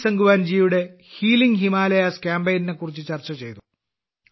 പ്രദീപ് സാങ്വാന്റെ healing Himalayas കാമ്പെയ്നെക്കുറിച്ച് ചർച്ച ചെയ്തു